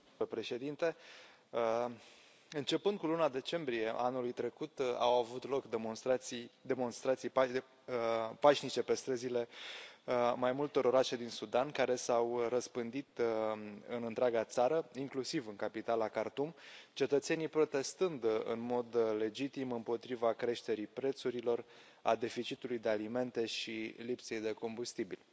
Domnule președinte, începând cu luna decembrie a anului trecut, au avut loc demonstrații pașnice pe străzile mai multor orașe din Sudan, care s au răspândit în întreaga țară, inclusiv în capitala Khartoum, cetățenii protestând în mod legitim împotriva creșterii prețurilor, a deficitului de alimente și lipsei de combustibil.